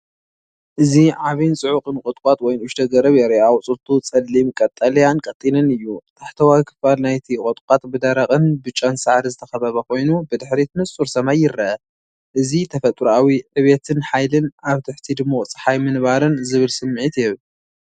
እዚ ዓቢን ጽዑቕን ቁጥቋጥ ወይ ንእሽቶ ገረብ የርኢ። ኣቝጽልቱ ጸሊም ቀጠልያን ቀጢንን እዩ። ታሕተዋይ ክፋል ናይቲ ቁጥቋጥ ብደረቕን ብጫን ሳዕሪ ዝተኸበበ ኮይኑ፡ብድሕሪት ንጹር ሰማይ ይርአ። እዚ ተፈጥሮኣዊ ዕብየትን ሓይሊን ኣብ ትሕቲ ድሙቕ ጸሓይ ምንባርን ዝብል ስምዒት ይህብ።